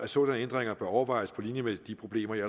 sådanne ændringer bør overvejes på linje med de problemer jeg